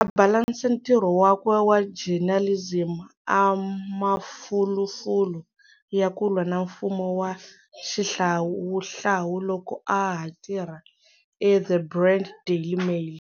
A a balansa ntirho wakwe wa journalism a mafulufulu ya ku lwa na mfumo wa xihlawuhlawu loko a ha tirha eThe Rand Daily Mail.